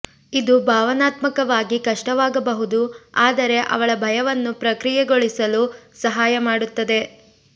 ಇದು ಭಾವನಾತ್ಮಕವಾಗಿ ಕಷ್ಟವಾಗಬಹುದು ಆದರೆ ಅವಳ ಭಯವನ್ನು ಪ್ರಕ್ರಿಯೆಗೊಳಿಸಲು ಸಹಾಯ ಮಾಡುತ್ತದೆ